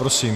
Prosím.